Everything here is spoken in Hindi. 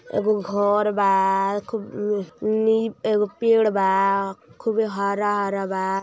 एगो घर बा खूब एगो पेड़ बा खूब हरा हरा बा।